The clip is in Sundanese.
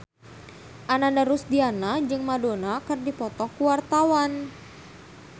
Ananda Rusdiana jeung Madonna keur dipoto ku wartawan